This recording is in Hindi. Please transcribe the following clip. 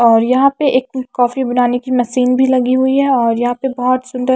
और यहां पे एक कॉफी बनाने की मशीन भी लगी हुई है और यहां पे बहुत सुंदर--